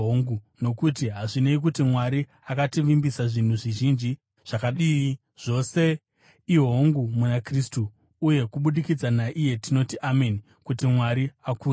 Nokuti hazvinei kuti Mwari akativimbisa zvinhu zvizhinji zvakadii, zvose i“Hongu” muna Kristu. Uye kubudikidza naiye tinoti “Ameni” kuti Mwari akudzwe.